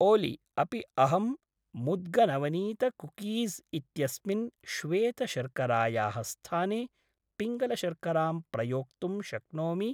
ओलि अपि अहं मुद्गनवनीतकुकीज़् इत्यस्मिन् श्वेतशर्करायाः स्थाने पिङ्गलशर्करां प्रयोक्तुं शक्नोमि?